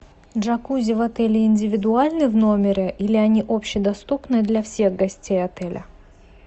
джакузи в отеле индивидуальны в номере или они общедоступны для всех гостей отеля